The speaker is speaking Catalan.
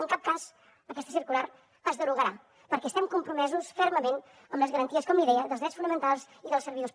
en cap cas aquesta circular es derogarà perquè estem compromesos fermament amb les garanties com li deia dels drets fonamentals dels servidors